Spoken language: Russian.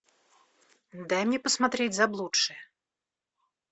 дай мне посмотреть заблудшие